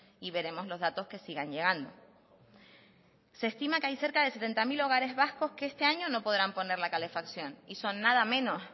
y veremos los datos que sigan llegando se estima que hay cerca de setenta mil hogares vascos que este año no podrán poner la calefacción y son nada menos